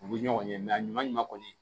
U bɛ ɲɔgɔn ye a ɲuman kɔni